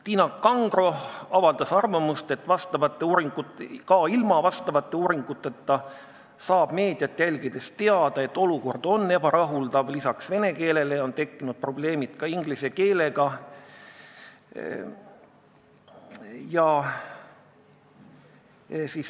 Tiina Kangro avaldas arvamust, et ka ilma uuringuteta saab meediat jälgides teada, et olukord on ebarahuldav, peale vene keele on tekkinud probleemid ka inglise keelega.